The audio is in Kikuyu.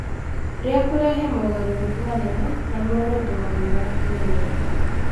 rĩa kũrehe mogarũrũku manene, na muoroto wao nĩ wakinyanĩra.